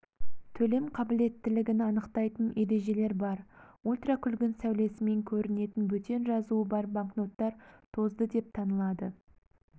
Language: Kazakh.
төлем қабілеттілігін анықтайтын ережелер бар ультракүлгін сәулесімен көрінетін бөтен жазуы бар банкноттар тозды деп танылады